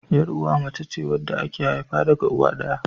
Yar'uwa mace ce wadda aka haifa daga uwa ɗaya.